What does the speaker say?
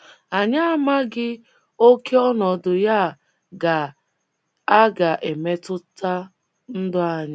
Anyị amaghị ókè ọnọdụ ya a ga - a ga - emetụta ndụ anyị.